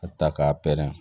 A bɛ taa k'a pɛrɛn